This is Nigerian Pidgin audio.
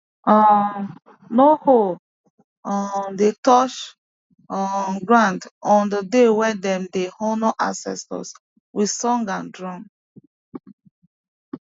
um no hoe um dey touch um ground on the day wey dem dey honour ancestors with song and drum